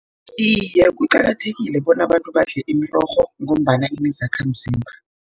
Iye, kuqakathekile bona abantu badle imirorho, ngombana inezakhamzimba.